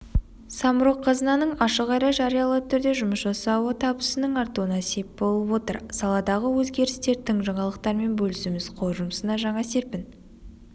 самрұқ-қазынаның ашық әрі жариялы түрде жұмыс жасауы табысының артуына сеп болып отыр саладағы өзгерістер тың жаңалықтармен бөлісуіміз қор жұмысына жаңа серпін